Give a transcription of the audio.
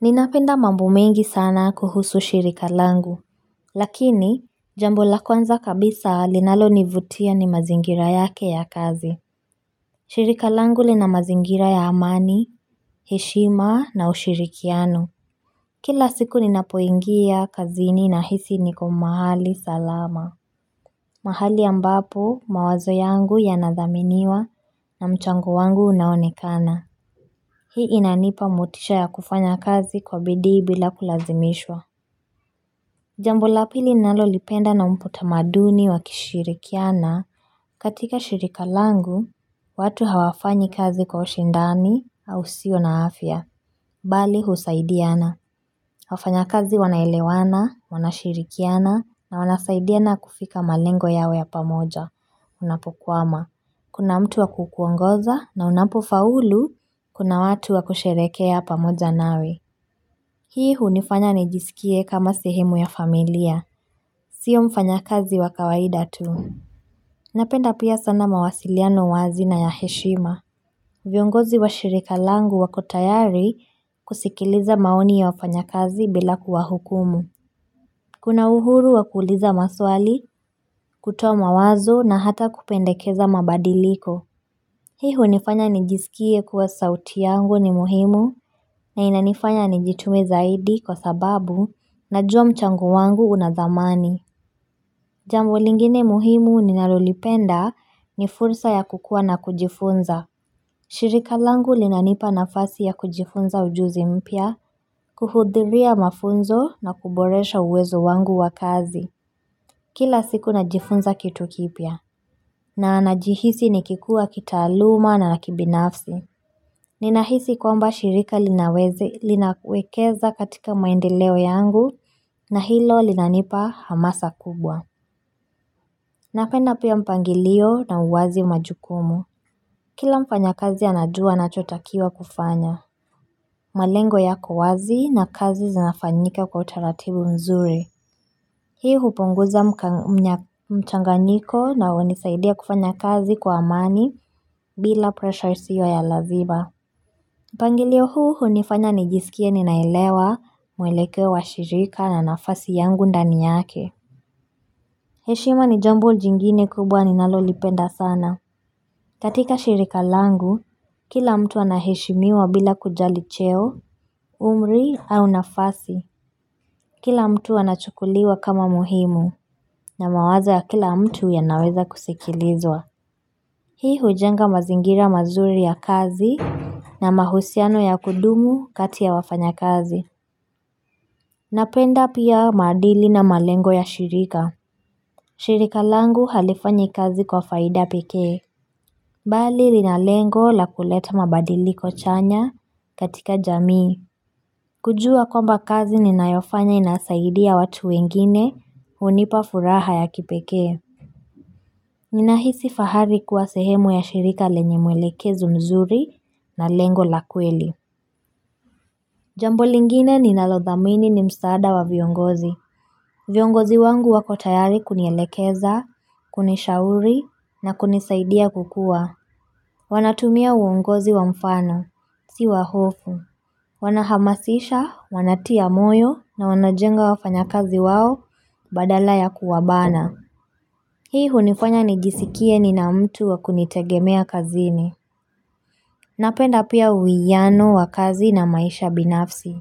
Ninapenda mambo mengi sana kuhusu shirika langu Lakini Jambo la kwanza kabisa linalo nivutia ni mazingira yake ya kazi shirika langu lina mazingira ya amani heshima na ushirikiano Kila siku ninapoingia kazini na hisi niko mahali salama mahali ambapo mawazo yangu yanathaminiwa na mchango wangu unaonekana Hii inanipa motisha ya kufanya kazi kwa bidi bila kulazimishwa Jambo la pili nalo lipenda na mputa maduni wa kishirikiana katika shirika langu, watu hawafanyi kazi kwa ushindani au sio na afya, bali husaidiana. Wafanya kazi wanaelewana, wanashirikiana na wanasaidiana kufika malengo yawe ya pamoja, unapokwama. Kuna mtu wa kukuongoza na unapofaulu, kuna watu wa kusherekea pamoja nawe. Hii hunifanya nijisikie kama sehemu ya familia, sio mfanya kazi wakawaida tu. Napenda pia sana mawasiliano wazi na ya heshima. Viongozi wa shirika langu wakotayari kusikiliza maoni ya wafanya kazi bila kuwa hukumu. Kuna uhuru wakuliza maswali, kutoa mawazo na hata kupendekeza mabadiliko. Hii hu nifanya nijisikie kuwa sauti yangu ni muhimu, na inanifanya nijitume zaidi kwa sababu na jua mchango wangu unathamani. Jambo lingine muhimu ninalolipenda ni fursa ya kukua na kujifunza. Shirika langu linanipa na fasi ya kujifunza ujuzi mpia, kuhudhiria mafunzo na kuboresha uwezo wangu wakazi. Kila siku najifunza kitu kipia, na najihisi nikikua kita aluma na nakibinafsi. Ninahisi kwa mba shirika linawezi linawekeza katika maendeleo yangu na hilo linanipa hamasa kubwa Napenda pia mpangilio na uwazi majukumu Kila mfanya kazi anajua na chotakiwa kufanya malengo yako wazi na kazi zinafanyika kwa utaratibu mzuri Hii hupunguza mchanganyiko na unisaidia kufanya kazi kwa amani bila pressure isio ya lazima. Pangilio huu hunifanya nijisikie ninailewa mwelekewa shirika na nafasi yangu ndani yake. Heshima ni jambo jingine kubwa ninalolipenda sana. Katika shirika langu, kila mtu anahishimiwa bila kujali cheo, umri au nafasi. Kila mtu anachukuliwa kama muhimu na mawazo ya kila mtu ya naweza kusikilizwa. Hii hujenga mazingira mazuri ya kazi na mahusiano ya kudumu katia wafanya kazi. Napenda pia maadili na malengo ya shirika shirika langu halifanya kazi kwa faida peke Bali linalengo la kuleta mabadiliko chanya katika jamii kujua kwamba kazi ni nayofanya inasaidia watu wengine hunipa furaha ya kipeke Ninahisi fahari kuwa sehemu ya shirika lenye mwelekezo mzuri na lengo la kweli Jambo lingine ni nalodhamini ni msaada wa viongozi viongozi wangu wakotayari kunielekeza, kunishauri na kunisaidia kukua. Wanatumia uongozi wa mfano, siwa hofu. Wanahamasisha, wanatia moyo na wanajenga wafanya kazi wao badala ya kuwabana. Hii hunifanya nijisikie ni na mtu wakunitegemea kazini. Napenda pia uwiyano wakazi na maisha binafsi.